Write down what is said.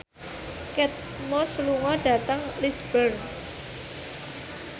Kate Moss lunga dhateng Lisburn